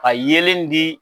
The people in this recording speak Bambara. Ka yeelen di.